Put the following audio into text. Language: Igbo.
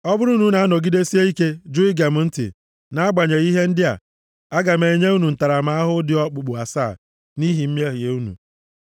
“ ‘Ọ bụrụ na unu anọgidesie ike ju ige m ntị nʼagbanyeghị ihe ndị a, aga m enye unu ntaramahụhụ dị okpukpu asaa nʼihi mmehie unu.